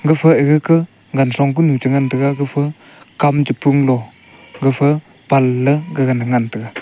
efa egaga ka gan song ko nu che ngan taiga gafa kam chu pung lo gafa pan let gaga ne ngan taiga.